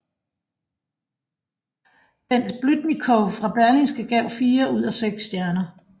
Bent Blüdnikow fra Berlingske gav fire ud af seks stjerner